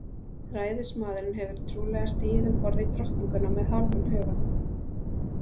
Ræðismaðurinn hefur trúlega stigið um borð í Drottninguna með hálfum huga.